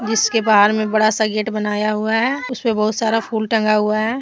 इसके बाहर में बड़ा सा गेट बनाया हुआ है उसमे बहुत सारा फूल टंगा हुआ है ।